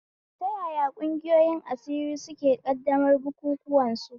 Ta yaya ƙungiyan asiri suke ƙaddamar bukukuwan su?